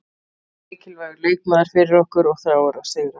Hann er mikilvægur leikmaður fyrir okkur og þráir að sigra.